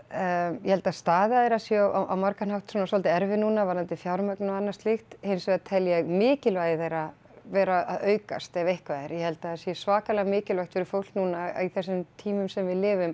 ég held að staða þeirra sé á margan hátt dálítið erfið núna varðandi fjármögnun og annað slíkt hins vegar tel ég mikilvægi þeirra vera að aukast ef eitthvað er ég held að það sé svakalega mikilvægt fyrir fólk núna á þessum tímum sem við lifum